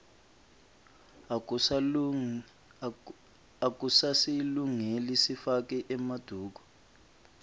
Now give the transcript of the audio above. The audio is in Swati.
akusasilungeli sifake emaduku